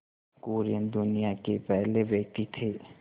कुरियन दुनिया के पहले व्यक्ति थे